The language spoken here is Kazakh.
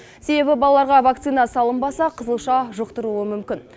себебі балаларға вакцина салынбаса қызылша жұқтыруы мүмкін